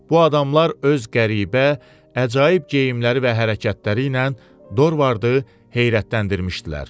Bu adamlar öz qəribə, əcaib geyimləri və hərəkətləri ilə Dorvardı heyrətləndirmişdilər.